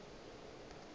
bjale ge e le mo